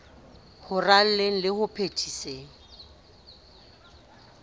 ho raleng le ho phethiseng